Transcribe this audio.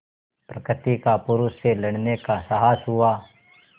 प्रकृति का पुरुष से लड़ने का साहस हुआ